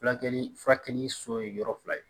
Fulakɛli furakɛli so ye yɔrɔ fila ye